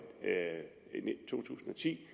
to tusind og ti